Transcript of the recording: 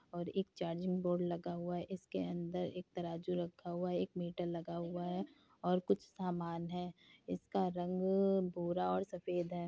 और एक charging board लगा हुआ है इसके अंदर एक तराजू रक्खा हुआ है | एक मीटर लगा हुआ है और कुछ सामान है | इसका रंग भूरा और सफ़ेद है।